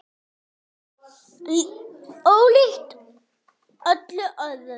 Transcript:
Ólíkt öllu öðru.